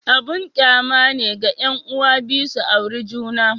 Abun kyama ne ga 'yan'uwa biyu su auri juna.